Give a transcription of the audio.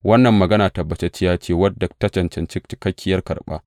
Wannan magana tabbatacciya ce wadda ta cancanci cikakkiyar karɓa.